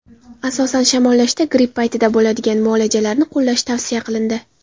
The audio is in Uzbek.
Asosan, shamollashda, gripp paytida bo‘ladigan muoalajalarni qo‘llash tavsiya qilindi.